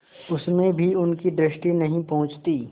उसमें भी उनकी दृष्टि नहीं पहुँचती